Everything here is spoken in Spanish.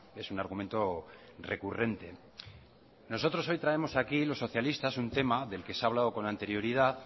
es un argumento recurrente nosotros hoy traemos aquí los socialistas un tema del que se ha hablado con anterioridad